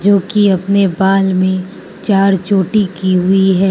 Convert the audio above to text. जोकि अपने बाल में चार छोटी की हुई है।